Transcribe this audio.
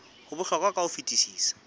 ho bohlokwa ka ho fetisisa